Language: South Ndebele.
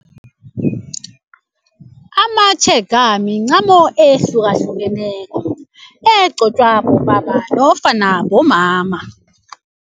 Amatshega mincamo ehlukahlukeneko egcotshwa bobaba nofana bomama.